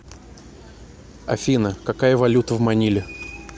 афина какая валюта в маниле